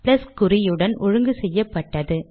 plus குறியுடன் ஒழுங்கு செய்யப்பட்டது